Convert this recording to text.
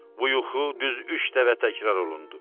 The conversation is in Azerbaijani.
Bu yuxu düz üç dəfə təkrar olundu.